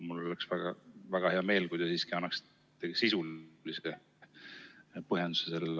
Mul oleks väga hea meel, kui te siiski annaksite sellele sisulise põhjenduse.